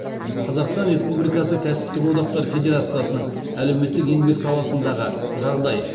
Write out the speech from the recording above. қазақстан республикасы кәсіптік одақтар федерациясының әлеуметтік еңбек саласындағы жағдай